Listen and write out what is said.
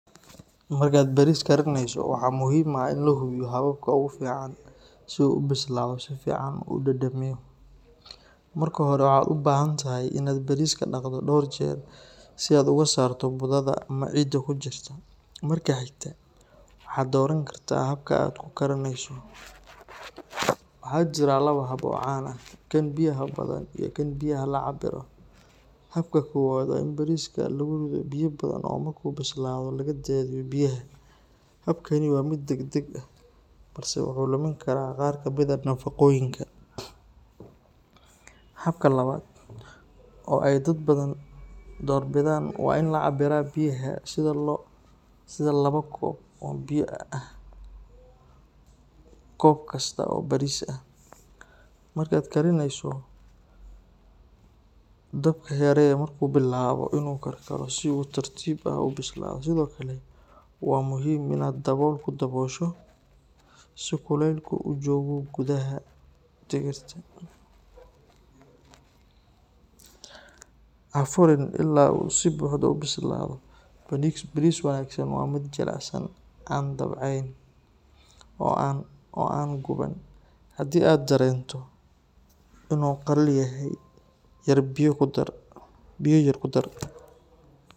Markaad baris karinayso, waxaa muhiim ah in la hubiyo hababka ugu fiican si uu u bislaado si fiican oo u dhadhamiyo. Marka hore, waxaad u baahan tahay in aad bariska dhaqdo dhowr jeer si aad uga saarto budada ama ciidda ku jirta. Marka xigta, waxaad dooran kartaa habka aad ku karinayso; waxaa jira laba hab oo caan ah: kan biyaha badan iyo kan biyaha la cabbiro. Habka koowaad waa in bariska lagu riddo biyo badan oo marka uu bislaado laga daadiyo biyaha. Habkani waa mid degdeg ah, balse wuxuu lumin karaa qaar ka mid ah nafaqooyinka. Habka labaad, oo ay dad badan door bidaan, waa in la cabbiraa biyaha sida labo koob oo biyo ah koob kasta oo bariis ah. Markaad kariyeyso, dabka yaree marka uu bilaabo inuu karkaro si uu si tartiib ah u bislaado. Sidoo kale, waa muhiim in aad dabool ku daboosho si kuleylku u joogo gudaha digirta. Ha furiin ilaa uu si buuxda u bislaado. Baris wanaagsan waa mid jilicsan, aan dabcayn, oo aan qodban. Haddii aad dareento inuu qalalan yahay, yar biyo ku dar.